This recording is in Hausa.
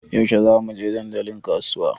Yaushe za mu je dandalin kasuwa?